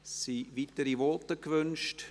Sind weitere Voten gewünscht?